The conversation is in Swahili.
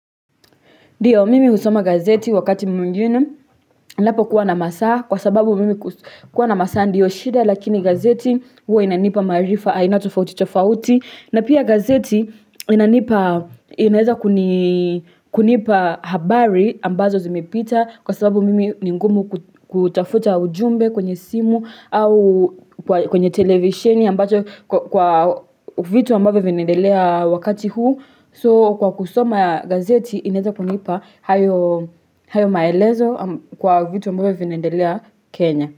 Ndio, mimi husoma gazeti wakati mwingine, ninapo kuwa na masaa, kwa sababu mimi kuwa na masaa ndiyo shida, lakini gazeti huwa inanipa maarifa, aina tofauti tofauti. Na pia gazeti inanipa, inaeza kunipa habari ambazo zimepita, kwa sababu mimi ni ngumu kutafuta ujumbe kwenye simu au kwenye televisheni ambacho kwa vitu ambavyo vinaedelea wakati huu. So kwa kusoma ya gazeti ineta kunipa hayo maelezo kwa vitu ambavyo vinaendelea kenya.